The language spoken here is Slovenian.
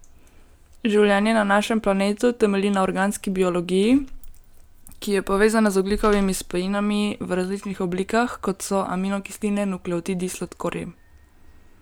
Življenje na našem planetu temelji na organski biologiji, ki je povezana z ogljikovimi spojinami v različnih oblikah, kot so aminokisline, nukleotidi, sladkorji.